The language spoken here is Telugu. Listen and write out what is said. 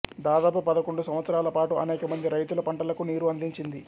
దాదాపు పదకొండు సంవత్సరాల పాటు అనేక మంది రైతుల పంటలకు నీరు అందించింది